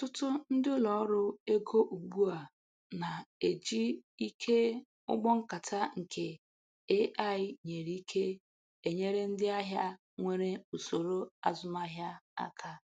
Ọtụtụ ndị ụlọ ọrụ ego ugbu a na-ejị ike ụgbọ nkata nke AI-nyere ike enyere ndị ahịa nwere usoro azumahịa aka